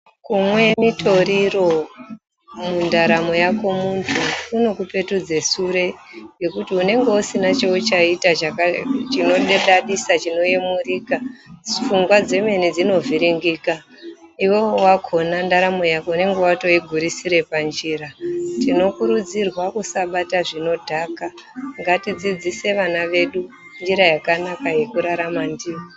Kumwe mitoriro mundaramo yako muntu kunokupetudze sure ngekuti unenge usina chauchaita chinodadisa chinoyemurika pfungwa dzemene dzinovhiringika iwewe wakhona ndaramo yako unenge watoigurisura panjira. Tinokurudzirwa kusabata zvinodhaka ngatidzidzise vana vedu njira yakanaka yekurarama ndiyo.